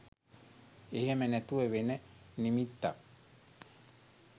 එහෙම නැතුව වෙන නිමිත්තක්